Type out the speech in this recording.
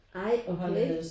Ej okay